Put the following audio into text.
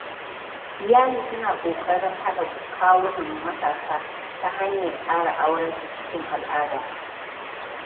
Iyali suna ƙoƙarin haɗa kawunan matasa ta hanyar tsara aurensu cikin al'ada.